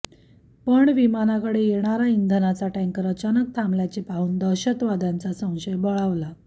पण विमानाकडे येणारा इंधनाचा टॅंकर अचानक थांबल्याचे पाहुन दहशतवाद्यांचा संशय बळावला